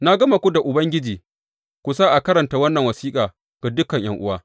Na gama ku da Ubangiji ku sa a karanta wannan wasiƙa ga dukan ’yan’uwa.